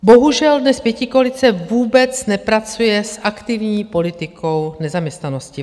Bohužel dnes pětikoalice vůbec nepracuje s aktivní politikou nezaměstnanosti.